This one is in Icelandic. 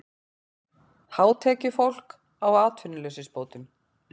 Hátekjufólk á atvinnuleysisbótum